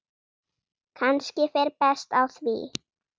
Kannski fer best á því.